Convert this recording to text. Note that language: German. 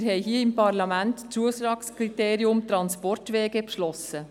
Wir haben hier im Parlament das Zuschlagskriterium Transportwege beschlossen.